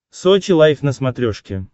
сочи лайф на смотрешке